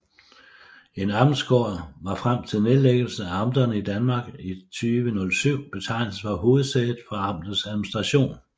En amtsgård var frem til nedlæggelsen af amterne i Danmark i 2007 betegnelsen for hovedsædet for amtets administration